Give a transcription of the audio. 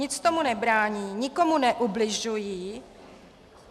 Nic tomu nebrání, nikomu neubližují.